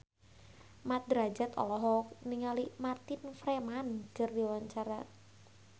Mat Drajat olohok ningali Martin Freeman keur diwawancara